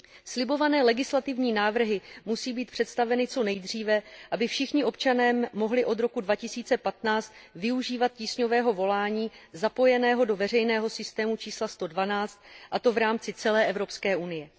Slibované legislativní návrhy musí být představeny co nejdříve, aby všichni občané mohli od roku 2015 využívat tísňového volání zapojeného do veřejného systému čísla 112, a to v rámci celé Evropské unie.